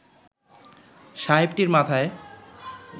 সাহেবটির মাথায়